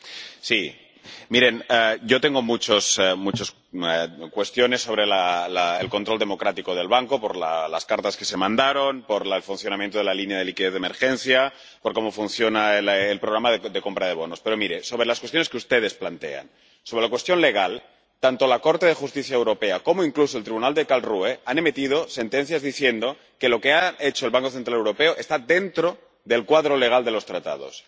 Señor presidente. Miren, yo tengo muchas cuestiones sobre el control democrático del Banco por las cartas que se mandaron, por el funcionamiento de la línea de liquidez de emergencia, por cómo funciona el programa de compra de bonos... Pero miren, sobre las cuestiones que ustedes plantean, sobre la cuestión legal, tanto el Tribunal de Justicia de la Unión Europea como, incluso, el Tribunal de Karlsruhe han emitido sentencias diciendo que lo que ha hecho el Banco Central Europeo está dentro del marco legal de los Tratados.